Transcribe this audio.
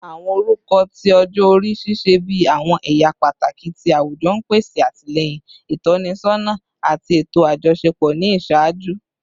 Awọn orukọ ti ọjọ-ori ṣiṣẹ bi awọn ẹya pataki ti awujọ, n pese atilẹyin, itọsọna, ati eto ajọṣepọ ni iṣaaju.